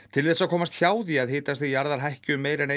til þess að komast hjá því að hitastig jarðar hækki um meira en